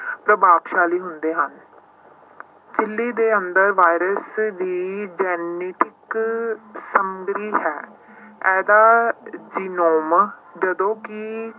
ਪ੍ਰਭਾਵਸ਼ਾਲੀ ਹੁੰਦੇ ਹਨ ਝਿੱਲੀ ਦੇ ਅੰਦਰ ਵਾਇਰਸ ਦੀ genetic ਹੈ ਇਹਦਾ ਜਦੋਂ ਕਿ